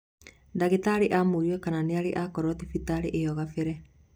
Ndagĩtarĩ amũria kana nĩarĩ akorwo thibitarĩ ĩyo kabele